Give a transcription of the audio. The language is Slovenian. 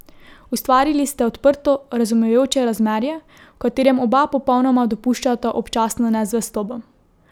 Ustvarili ste odprto, razumevajoče razmerje, v katerem oba popolnoma dopuščata občasno nezvestobo.